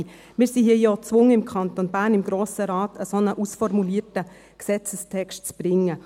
Wir sind im Grossen Rat des Kantons Bern gezwungen, einen ausformulierten Gesetzestext zu bringen.